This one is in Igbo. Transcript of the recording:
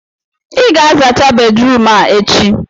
ị ga-azacha bedrum a echi!